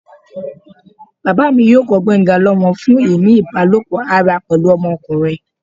baba mi yóò kọ gbenga lomọ fun ini ibalopọ ará pẹlu ọmọkunrin